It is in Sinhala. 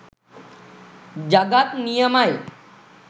ජගත් නියමයි.